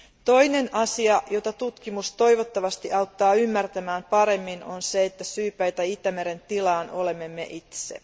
Toinen asia, jota tutkimus toivottavasti auttaa ymmärtämään paremmin on se, että syypäitä Itämeren tilaan olemme me itse.